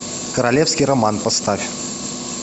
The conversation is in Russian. королевский роман поставь